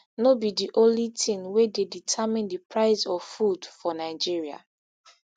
no be di only tin wey dey determine di price of food for nigeria